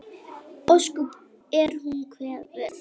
Ósköp er hún kvefuð.